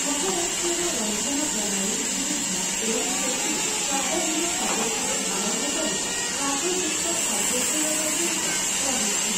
ମହାରାଷ୍ଟ୍ରର ରନ୍ଧନ ପ୍ରଣାଳୀ ବିବିଧ ଏବଂ ସେଥିରେ ସ୍ୱାଦହୀନ ଖାଦ୍ୟଠାରୁ ଆରମ୍ଭ କରି ରାଗଯୁକ୍ତ ଖାଦ୍ୟପେୟ ପର୍ଯ୍ୟନ୍ତ ରହିଛି ।